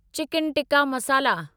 chicken tikka मसाला